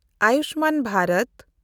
Ayushman Bharat